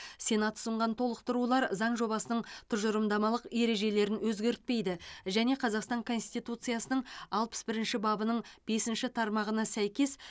сенат ұсынған толықтырулар заң жобасының тұжырымдамалық ережелерін өзгертпейді және қазақстан конституциясының алпыс бірінші бабының бесінші тармағына сәйкес